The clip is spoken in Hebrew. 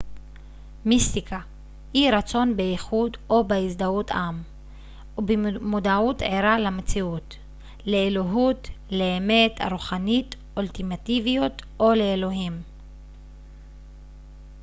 מיסטיקה היא רצון באיחוד או בהזדהות עם ובמודעות ערה למציאות לאלוהות ולאמת הרוחנית אולטימטיביות או לאלוהים